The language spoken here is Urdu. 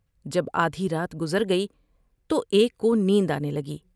جب آدھی رات گزرگئی تو ایک کو نیند آنے لگی ۔